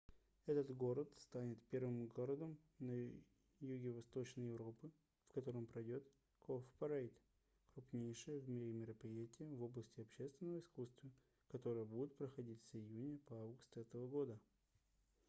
этот город станет первым городом юго-восточной европы в котором пройдёт cowparade крупнейшее в мире мероприятие в области общественного искусства которое будет проходить с июня по август этого года